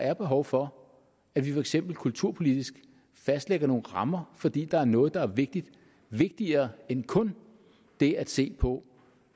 er behov for at vi for eksempel kulturpolitisk fastlægger nogle rammer fordi der er noget der er vigtigere vigtigere end kun det at se på